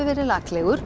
verið